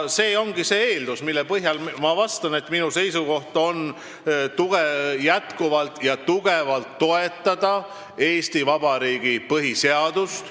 See ongi see eeldus, mille põhjal ma vastan, et minu seisukoht on jätkuvalt ja tugevalt toetada Eesti Vabariigi põhiseadust.